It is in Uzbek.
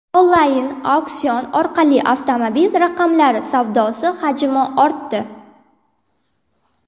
Onlayn auksion orqali avtomobil raqamlari savdosi hajmi ortdi.